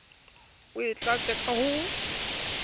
o e tlatse ka ho